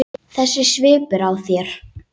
Þessi svipur á þér.